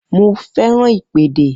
Mo fẹ́ràn ìpèdè